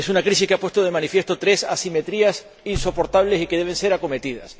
Es una crisis que ha puesto de manifiesto tres asimetrías insoportables y que deben ser acometidas.